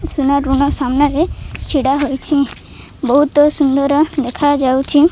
ସୁନା ରୁଣ ସାମ୍ନା ରେ ଛିଡା ହୋଇଚି ବହୁତ ସୁନ୍ଦର ଦେଖାଯାଉଚି।